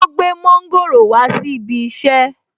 Ó gbé mọ́ńgòrò wá sí ibi iṣẹ́